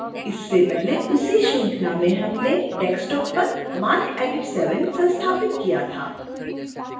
इससे पहले उसी श्रृंखला में हमने desktop पर marcedit 7 संस्थापित किया था